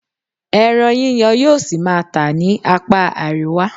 Ẹran yíyan yóò ṣì máa tà ní apá àríwá.